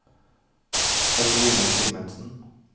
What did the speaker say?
Caroline Simensen